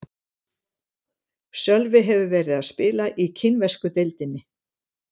Sölvi hefur verið að spila í kínversku deildinni.